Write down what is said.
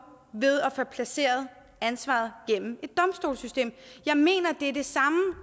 ved at få placeret ansvaret gennem et domstolssystem jeg mener